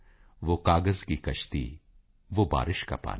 ਵੋਹ ਕਾਗਜ਼ ਕੀ ਕਸ਼ਤੀ ਵੋ ਬਾਰਿਸ਼ ਕਾ ਪਾਨੀ